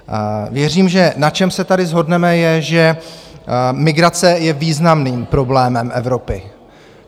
Věřím, že na čem se tady shodneme, je, že migrace je významným problémem Evropy.